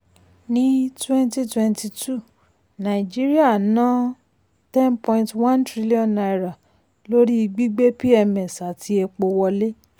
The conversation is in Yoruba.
ní 2022 nàìjíríà ná n10.1 trillion lórí gbígbé pms àti epo wọlé.